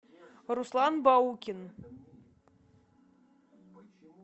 руслан баукин